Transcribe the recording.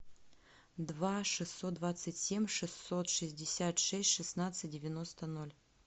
два шестьсот двадцать семь шестьсот шестьдесят шесть шестнадцать девяносто ноль